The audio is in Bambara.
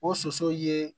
O soso ye